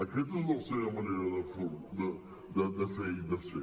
aquesta és la seva manera de fer i de ser